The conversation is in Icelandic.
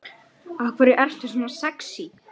Enginn á hættu.